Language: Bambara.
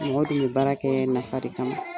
Mɔgɔ dun be baara kɛ nafa de kama.